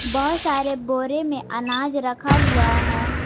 बहोत सारे बोरे में अनाज रखा हुआ है।